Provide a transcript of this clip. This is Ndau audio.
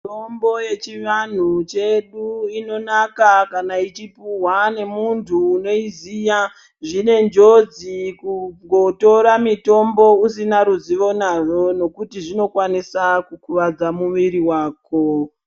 Mitombo yechivanhu chedu inonaka kana yechipuwa nemuntu unoiziya. Zvine njodzi kungotora mutombo usina ruzivo nazvo. Zvinjodzi nekuti zvikokwanisa kukuvadza mwiri wako.